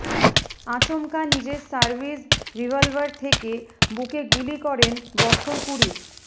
আচমকা নিজের service revolver থেকে বুকে গুলি করেন বছর কুড়ির